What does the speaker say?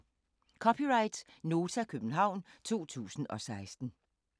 (c) Nota, København 2016